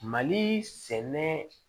Mali sɛnɛ